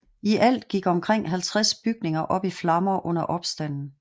I alt gik omkring 50 bygninger op i flammer under opstanden